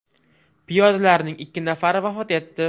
Piyodalarning ikki nafari vafot etdi.